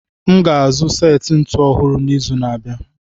M ga-azụ seti ntụnụ ọhụrụ n'izu na-abịa.